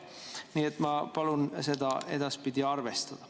Nii et ma palun seda edaspidi arvestada.